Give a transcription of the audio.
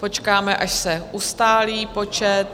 Počkáme, až se ustálí počet.